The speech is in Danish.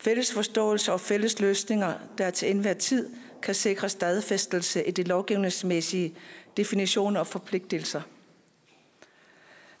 fælles forståelse og fælles løsninger der til enhver tid kan sikre stadfæstelse i de lovgivningsmæssige definitioner og forpligtelser